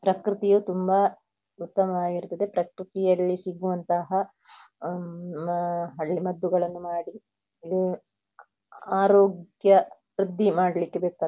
ಪ್ರಕೃತಿಯು ತುಂಬ ಉತ್ತಮವಾಗಿರುತ್ತದೆ. ಪ್ರಕೃತಿಯಲ್ಲಿ ಸಿಗುವಂತಹ ಆಂ ಹಳ್ಳಿ ಮದ್ದುಗಳನ್ನು ಮಾಡಿ ಆಂ ಆರೋಗ್ಯ ವೃದ್ಧಿ ಮಾಡ್ಳಿಕ್ಕೆ ಬೇಕಾ.